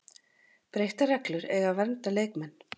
Breyttar reglur eiga að vernda leikmenn